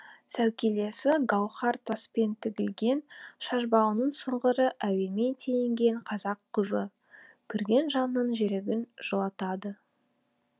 сәукелесі гауһар таспен тігілген шашбауының сыңғыры әуенмен теңелген қазақ қызы көрген жанның жүрегін жылытады